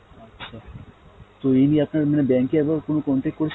আচ্ছা, তো এই নিয়ে আপনার মানে bank এ একবার কোনো contact করেছে